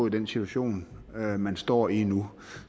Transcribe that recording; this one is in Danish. i den situation man man står i nu